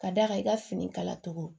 Ka d'a kan i ka fini kala cogo